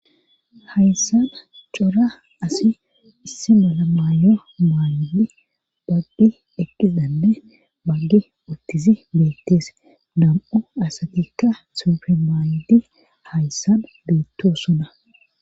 hayssan cora asi issi mala maayo maaydi baggi eqqizanne baggi uttisi beettees nam7u asatikka suufe maaydi hayssan beettosona